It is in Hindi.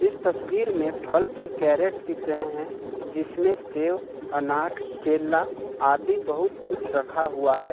इस तस्वीर में फल के कैरेट दिख रहे हैं जिसमें से अनार केला आदि बहुत कुछ रखा हुआ है।